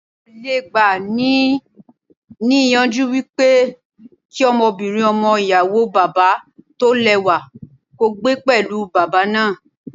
Mi ò le gba ni ní ìyànjú wípé kí ọmọbìnrin ọmọ ìyàwó bàbá tó lẹ́wà kó gbé pẹ̀lú bàbá náà.